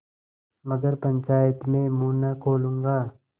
मगर पंचायत में मुँह न खोलूँगा